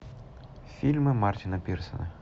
фильмы мартина пирсона